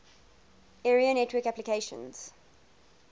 area network applications